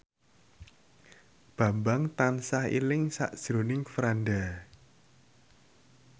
Bambang tansah eling sakjroning Franda